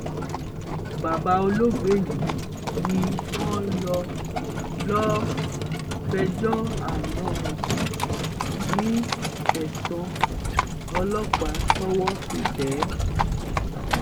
bàbá olóògbé yìí ni wọ́n lọ lọ́ọ́ fẹjọ́ àna ẹ̀ sùn ní tẹ̀sán ọlọ́pàá tọ́wọ́ fi tẹ̀ ẹ́